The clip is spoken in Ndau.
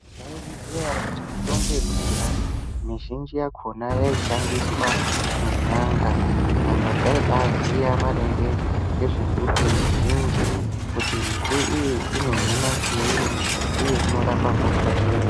Maizviziya ere kuti mitombo yekudhaya mizhinji yakhona yaishandiswa nen'anga, n'anga dzaibaaziya maringe ngezve mbuti mizhinji kuti mbuti iyi inohina chiini uye inorapa hosha iri.